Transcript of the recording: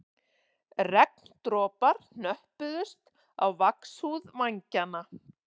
Regndropar hnöppuðust á vaxhúð vængjanna